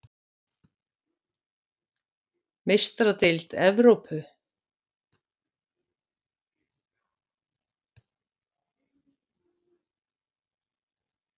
Meistaradeild Evrópu:??